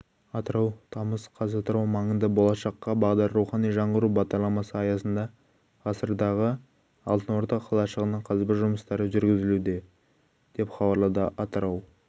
атырау тамыз қаз атырау маңында болашаққа бағдар рухани жаңғыру бағдарламасы аясында ғасырдағы алтын орда қалашығының қазба жұмыстары жүргізілуде деп хабарлады атырау